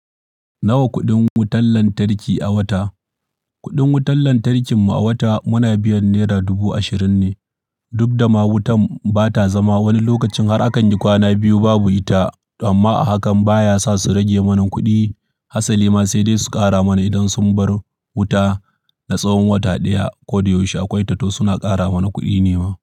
Nawa kuɗin wutar lantarki a wata? Kuɗin wutar lantarkin mu a wata muna biyan naira dubu ashirin ne. Duk da ma wutan bata zama, wani lokacin har akan yi kwana biyu babu ita amma hakan baya sa su rage mana kuɗi. Hasali ma sai dai su ƙara mana idan sun bar wuta na tsawon wata ɗaya ko da yaushe akwai tato suna ƙara mana kuɗi ne ma.